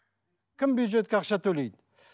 кім бюджетке ақша төлейді